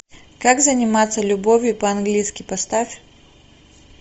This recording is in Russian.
как заниматься любовью по английски поставь